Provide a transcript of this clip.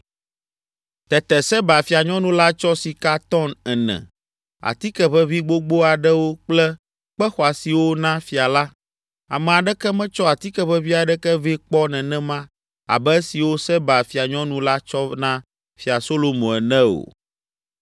Tete Seba fianyɔnu la tsɔ sika tɔn ene, atikeʋeʋĩ gbogbo aɖewo kple kpe xɔasiwo na fia la. Ame aɖeke metsɔ atikeʋeʋĩ aɖeke vɛ kpɔ nenema abe esiwo Seba fianyɔnu la tsɔ na Fia Solomo ene o.